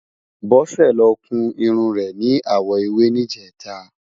Bose ló kún irún rè ni áwò éwé nijètá